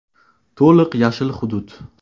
To‘liq “yashil” hudud.